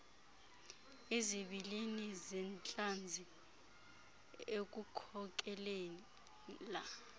izibilini zentlanzi ekukhokelela